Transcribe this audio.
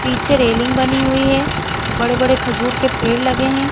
पीछे रेलिंग बनी हुई है बड़े-बड़े खजूर के पेड़ लगे हैं ।